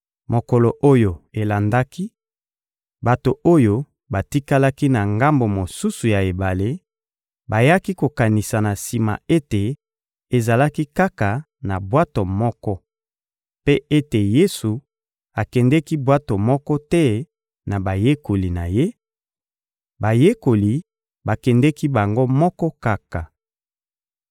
Mokolo oyo elandaki, bato oyo batikalaki na ngambo mosusu ya ebale bayaki kokanisa na sima ete ezalaki kaka na bwato moko, mpe ete Yesu akendeki bwato moko te na bayekoli na Ye; bayekoli bakendeki bango moko kaka.